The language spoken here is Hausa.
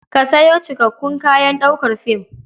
Ka sayo cikakakkun kayan ɗaukar fim.